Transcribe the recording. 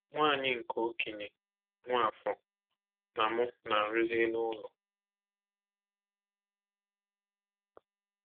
Nwa anyị nke okenye, Nwafor, na mụ na-arụzi elu ụlọ.